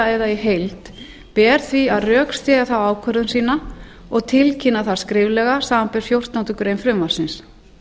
eða í heild ber því að rökstyðja þá ákvörðun sína og tilkynna það skriflega samanber fjórtándu greinar frumvarpsins